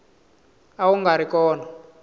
a wu nga ri kona